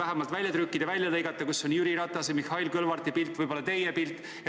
Selle saab välja trükkida või välja lõigata, seal on Jüri Ratase ja Mihhail Kõlvarti pilt ja võib-olla ka teie pilt.